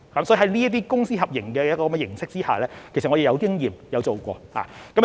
所以，在這些公私合營的形式下，其實我們是有經驗，亦曾經做過。